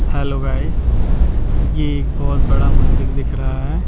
Hello guys ये एक बहुत बड़ा मंदिर दिख रहा है।